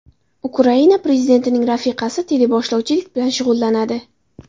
Ukraina prezidentining rafiqasi teleboshlovchilik bilan shug‘ullanadi.